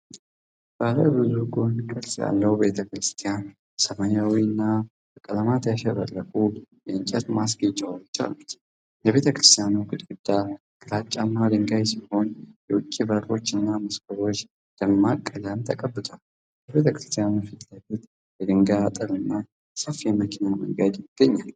ባለ ብዙ ጎን ቅርጽ ያለው ቤተ ክርስቲያን ሰማያዊና በቀለማት ያሸበረቁ የእንጨት ማስጌጫዎች አሉት። የቤተ ክርስቲያኑ ግድግዳ ግራጫማ ድንጋይ ሲሆን፣ የውጭ በሮችና መስኮቶች ደማቅ ቀለም ተቀብተዋል። ከቤተ ክርስቲያኑ ፊት ለፊት የድንጋይ አጥርና ሰፊ የመኪና መንገድ ይገኛል።